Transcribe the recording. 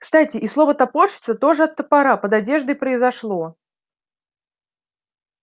кстати и слово топорщится тоже от топора под одеждой произошло